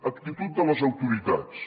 actitud de les autoritats